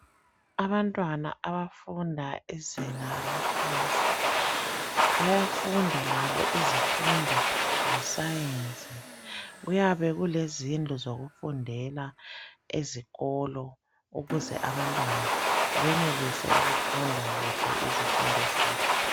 Abantwana abafunda izinga laphansi bayafunda labo izifundo zesayensi. Kuyabe kulezindlu zokufundela ezikolo ukuze abantwana benelise ukufunda kuhle izifundo zabo.